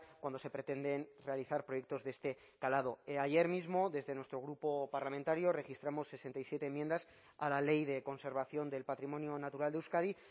cuando se pretenden realizar proyectos de este calado ayer mismo desde nuestro grupo parlamentario registramos sesenta y siete enmiendas a la ley de conservación del patrimonio natural de euskadi